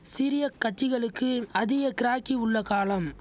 சிறிய கட்சிகளுக்கு அதிக கிராக்கி உள்ள காலம்